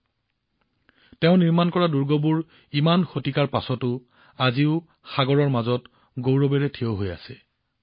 শ শ বছৰৰ পাছতো তেওঁ নিৰ্মাণ কৰা দুৰ্গবোৰ এতিয়াও সাগৰৰ মাজত গৌৰৱেৰে থিয় হৈ আছে